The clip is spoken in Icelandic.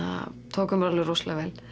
tóku mér alveg rosalega vel